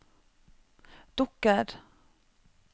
dukker